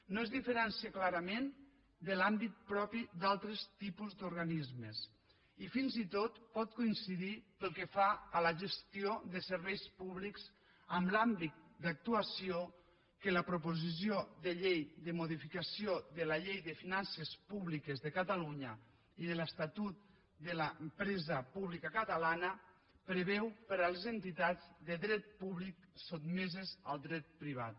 no es diferencia clarament de l’àmbit propi d’altres tipus d’organismes i fins i tot pot coincidir pel que fa a la gestió de serveis públics en l’àmbit d’actuació que la proposició de llei de modificació de la llei de finances públiques de catalunya i de l’estatut de l’empresa pública catalana preveu per a les entitats de dret públic sotmeses al dret privat